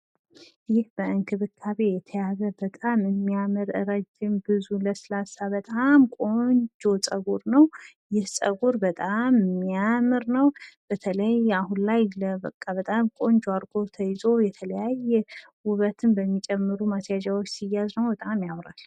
ይህ በእንክብካቤ የተያዘ በጣም የሚያምር ረዥም ብዙ ለስላሳ በጣም ቆንጆ ፀጉር ነዉ። ይህ ፀጉር በጣም የሚያምር ነዉ ! በተለይ አሁን ላይ ቆንጆ አርጎ ተይዞ የተለያየ ዉበትን በሚጨምሩ ማስያዣዎች ሲያዝ በጣም ያምራል።